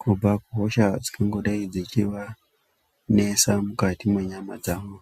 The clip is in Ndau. kubva kuhosha dzingangodai dzeivanesa mukati mwenyama dzavo.